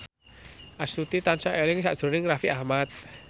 Astuti tansah eling sakjroning Raffi Ahmad